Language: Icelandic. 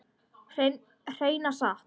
Hreina satt.